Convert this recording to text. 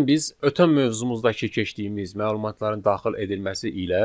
Gəlin biz ötən mövzumuzdakı keçdiyimiz məlumatların daxil edilməsi ilə